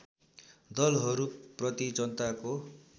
दलहरू प्रति जनताको